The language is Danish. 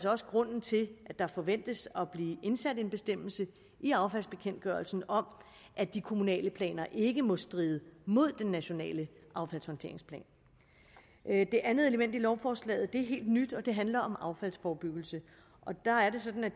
også grunden til at der forventes at blive indsat en bestemmelse i affaldsbekendtgørelsen om at de kommunale planer ikke må stride mod den nationale affaldshåndteringsplan det andet element i lovforslaget er helt nyt og det handler om affaldsforebyggelse der er det sådan at